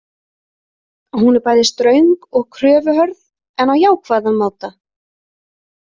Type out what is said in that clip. Hún er bæði ströng og kröfuhörð en á jákvæðan máta.